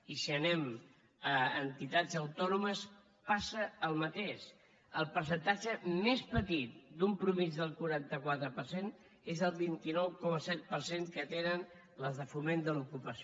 i si anem a entitats autònomes passa el mateix el percentatge més petit d’una mitjana del quaranta quatre per cent és el vint nou coma set per cent que tenen les de foment de l’ocupació